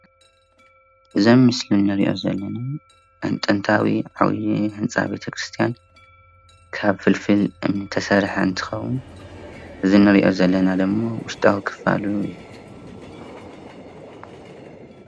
እዙይ ኣብ ምስሊ እንሪእዮ ዘለና ጥንታዊ ዓብዩ ህንፃ ቤተክርስትያን ካብ ፍልፍል እምኒ ዝተሰርሐ እንትኸውን እዙይ እንሪእዮ ዘለና ድማ ውሽጣዊ ክፋሉ እዩ።